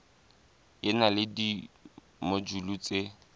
e na le dimojule tse